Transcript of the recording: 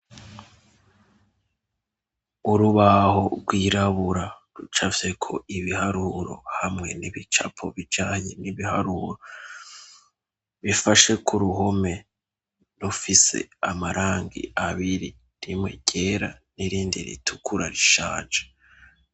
Urubaho rwirabura rucafyeko ibiharuro hamwe n'ibicapo bijanye n'ibiharuro, bifashe ku ruhome rufise amarangi abiri, rimwe ryera n'irindi ritukura rishaje.